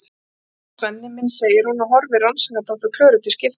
Blessaður, Svenni minn, segir hún og horfir rannsakandi á þau Klöru til skiptis.